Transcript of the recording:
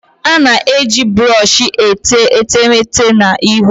A na-eji brọsh etee etemeete na ihu